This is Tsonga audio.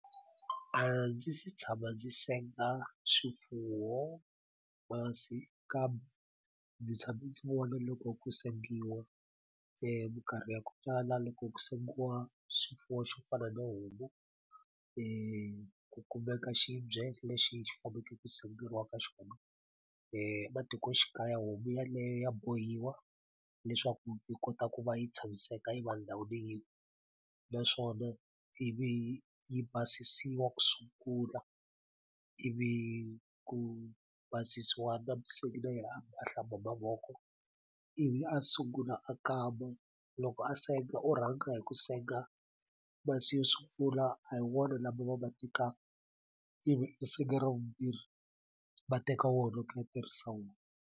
A ndzi se tshama ndzi senga swifuwo masi kambe ndzi tshame ndzi vona loko ku sengiwa minkarhi ya ku tala loko ku sengiwa swifuwo xo fana no homu ku kumeka xibye lexi xi faneke ku senderiwa ka xona matikoxikaya homu yaleyo ya bohiwa leswaku yi kota ku va yi tshamiseka yi va ndhawu leyi naswona ivi yi basisiwa ku sungula ivi ku basisiwa na musengi na yena a hlamba mavoko ivi a sungula a kama loko a senga u rhanga hi ku senga masi yo sungula a hi wona lama va ma tekaka ivi i senga ra vumbirhi va teka wona ku ya tirhisa wona.